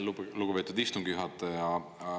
Aitäh, lugupeetud istungi juhataja!